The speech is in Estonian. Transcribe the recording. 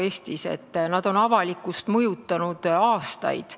Need inimesed on avalikkust mõjutanud aastaid.